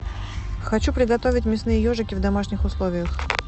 хочу приготовить мясные ежики в домашних условиях